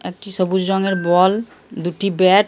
একটি সবুজ রঙের বল দুটি ব্যাট ।